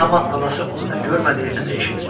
Amma anası onu nə görmədi, nə də eşitmədi.